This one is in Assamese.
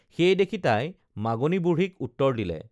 সেই দেখি তাই মাগনী বুঢ়ীক উত্তৰ দিলে